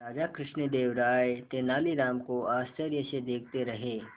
राजा कृष्णदेव राय तेनालीराम को आश्चर्य से देखते रहे